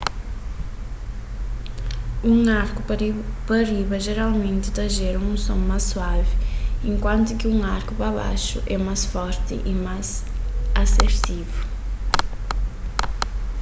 un arku pa riba jeralmenti ta jera un son más suavi enkuantu ki un arku pa baxu é más forti y más asertivu